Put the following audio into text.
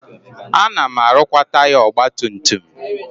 Ana m arụkwa taya ọgbatumtum m.